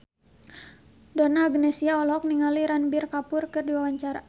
Donna Agnesia olohok ningali Ranbir Kapoor keur diwawancara